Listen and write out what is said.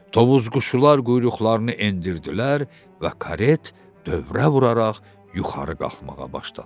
Tovuz quşlar quyruqlarını endirdilər və karet dövrə vuraraq yuxarı qalxmağa başladı.